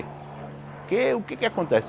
Porque o que é que acontece?